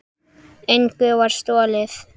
Engu var stolið.